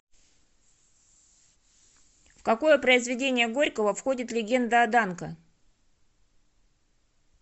в какое произведение горького входит легенда о данко